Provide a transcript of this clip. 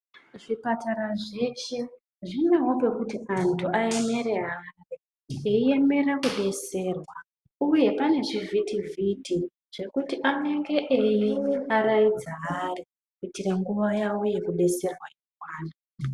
Zvipatara zveshe zvinewo pekuti antu ayemere ari vei emera ku detserwa uye pane zvi vhiti vhiti zvekuti anenge eyi varaidza ari kuiitira nguva yavo yeku detserwa ikwane.